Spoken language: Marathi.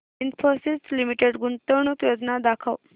इन्फोसिस लिमिटेड गुंतवणूक योजना दाखव